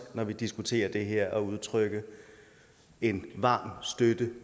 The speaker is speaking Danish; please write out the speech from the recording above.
når vi diskuterer det her at udtrykke en varm støtte